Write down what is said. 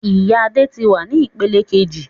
Oyún Adé tí wá ní ìpele kejì